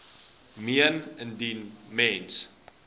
meen indien mens